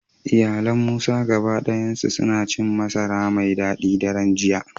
Iyalan Musa gaba dayansu suna cin masara mai dadi a daren jiya